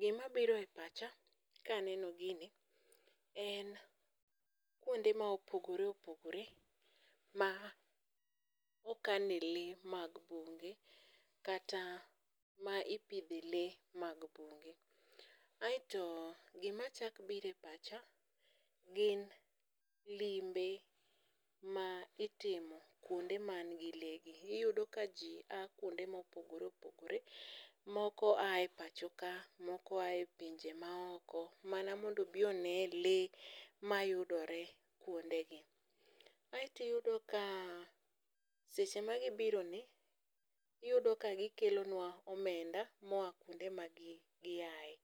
gimabiro e pacha kaneno gini en kwonde ma opogore opogore ma okane lee mag bunge kata ma ipidhe lee mag bunge, aeto gimachak biro e pacha gin limbe ma itimo kwonde manigi lee gi. Iyudo ka ji a kwonde mopogore opogore ,moko aye pachoka, moko aye pinje maoko mana mondo obi onee lee mayudore kwodegi. Aeto iyudo ka seche ma gibironi, iyudo ka gikelonwa omenda moa kwonde ma giaye.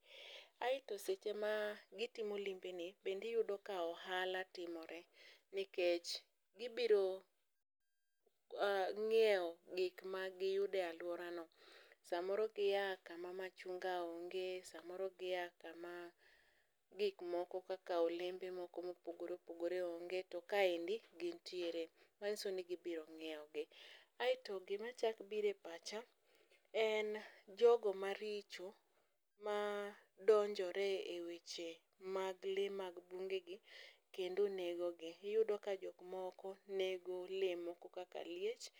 aeto seche ma gitimo limbeni, bende iyudo ka ohala timore, nikech gibiro ng'iewo gik magiyudo e alworano, samoro gia kama machunga onge, samoro gia kama gik moko kaka olembe moko mopogore opogore onge, to kaendi gintiere, manyiso ni gibiro ng'iewogi. Aeto gimachako biro e pacha en jogo maricho madonjore e weche mag lee mag bungegi kendo negogi, iyudo ka jok moko nego lee moko kaka liech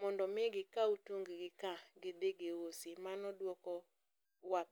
mondo omi gikaw tunggi ka gidhi giusi, mano dwokowa